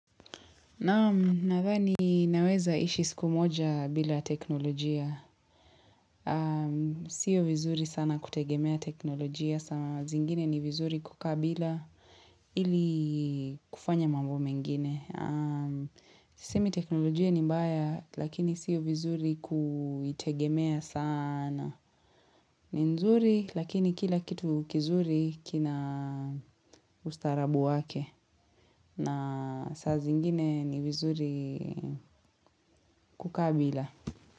Naam nadhani naweza ishi siku moja bila teknolojia. Sio vizuri sana kutegemea teknolojia. Zingine ni vizuri kukaa bila ili kufanya mambo mengine. Sisemi teknolojia ni mbaya lakini sio vizuri kuitegemea sana ni nzuri lakini kila kitu kizuri kina ustarabu wake na saa zingine ni vizuri kukaa bila.